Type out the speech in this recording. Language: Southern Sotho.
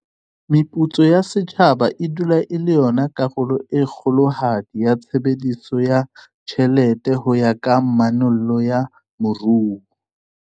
Meputso ya setjhaba e dula e le yona karolo e kgolohadi ya tshebediso ya tjhelete ho ya ka manollo ya moruo.